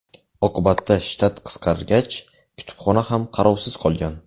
Oqibatda shtat qisqargach, kutubxona ham qarovsiz qolgan.